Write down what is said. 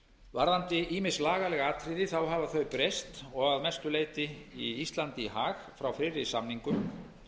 kostnaðar ýmis lagaleg atriði hafa breyst og að mestu leyti íslandi í hag frá fyrri samningum